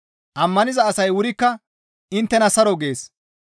Ammaniza asay wurikka inttena saro gees.